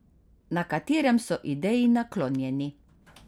Na katerem so ideji naklonjeni.